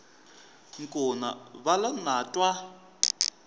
nkuna va lo na twa